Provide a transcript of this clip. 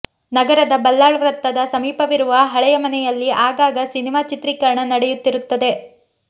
ನಗರದ ಬಲ್ಲಾಳ್ ವೃತ್ತದ ಸಮೀಪವಿರುವ ಹಳೆಯ ಮನೆಯಲ್ಲಿ ಆಗಾಗ ಸಿನಿಮಾ ಚಿತ್ರೀಕರಣ ನಡೆಯುತ್ತಿರುತ್ತದೆ